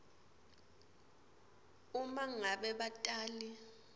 uma ngabe batali